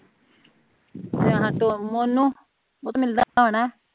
ਉਹ ਤੇ ਮਿਲਦਾ ਹੋਣਾ